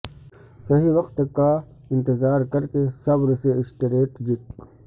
صحیح وقت کا انتظار کر کے صبر سے اسٹریٹجک